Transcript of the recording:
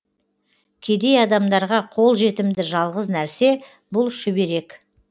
кедей адамдарға қол жетімді жалғыз нәрсе бұл шүберек